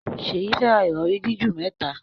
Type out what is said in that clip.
Seyi fè rá Ìrọ̀rí jiju mẹta.